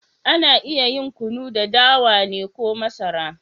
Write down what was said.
Ana iya yin Kunu da dawa ne ko masara.